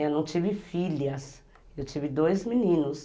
Eu não tive filhas, eu tive dois meninos.